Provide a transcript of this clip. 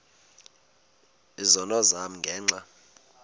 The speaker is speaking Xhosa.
izono zam ngenxa